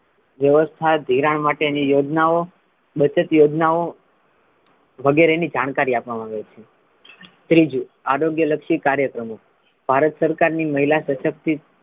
વ્યવસ્થા ધિરાણ માટે ની યોજનાઓ બચત યોજનોઓ વગેરે ની જાણકારી આપવામા આવે છે ત્રીજુ આરોગ્ય લક્ષી કાર્યક્રમો ભારત સરકાર ની મહિલા સશક્તિ,